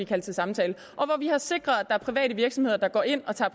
kaldt til samtale og vi har sikret at private virksomheder går ind og tager